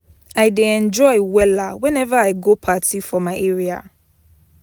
I dey enjoy wella weneva I go party for my area.